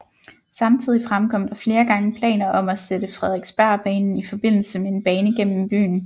Samtidig fremkom der flere gange planer om at sætte Frederiksbergbanen i forbindelse med en bane gennm byen